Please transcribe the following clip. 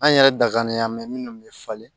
An yɛrɛ da kalen minnu bɛ falen